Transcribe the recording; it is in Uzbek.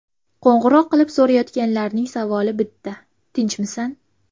Qo‘ng‘iroq qilib so‘rayotganlarning savoli bitta: ‘Tirikmisan?